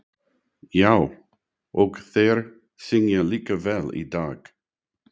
Já, og þeir syngja líka vel í dag.